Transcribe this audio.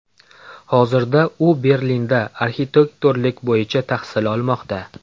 Hozirda u Berlinda arxitektorlik bo‘yicha tahsil olmoqda.